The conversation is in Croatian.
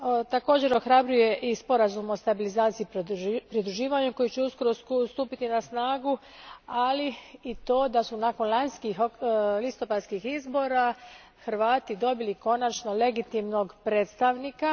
Također, ohrabruje i sporazum o stabilizaciji pridruživanja koji će uskoro stupiti na snagu, ali i to da su nakon lanjskih listopadskih izbora Hrvati konačno dobili legitimnog predstavnika.